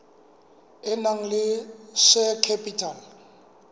e nang le share capital